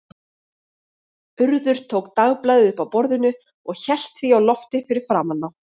Urður tók dagblaðið upp af borðinu og hélt því á lofti fyrir framan þá.